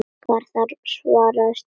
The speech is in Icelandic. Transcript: Garðar svarar strax.